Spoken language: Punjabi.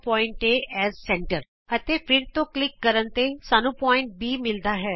ਕੇਂਦਰ ਦੇ ਰੂਪ ਵਿਚ ਬਿੰਦੂ A ਅਤੇ ਫਿਰ ਤੋਂ ਕਲਿਕ ਕਰਨ ਤੇ ਸਾਨੂੰ ਬਿੰਦੂ B ਮਿਲਦਾ ਹੈ